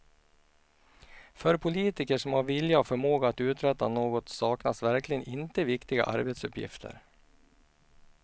För politiker som har vilja och förmåga att uträtta något saknas verkligen inte viktiga arbetsuppgifter.